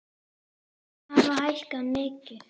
Laun hafi hækkað mikið.